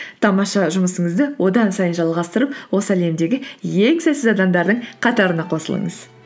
тамаша жұмысыңызды одан сайын жалғастырып осы әлемдегі ең сәтсіз адамдардың қатарына қосылыңыз